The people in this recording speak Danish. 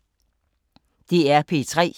DR P3